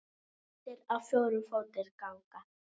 Kettir á fjórum fótum ganga.